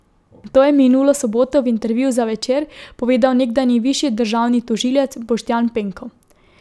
To je minulo soboto v intervjuju za Večer povedal nekdanji višji državni tožilec Boštjan Penko.